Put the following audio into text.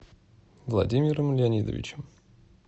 владимиром леонидовичем